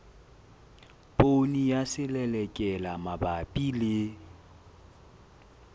poone ya selelekela mabapi le